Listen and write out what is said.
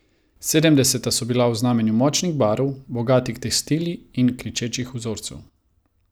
Sedemdeseta so bila v znamenju močnih barv, bogatih tekstilij in kričečih vzorcev.